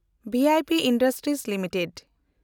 V I P industries limited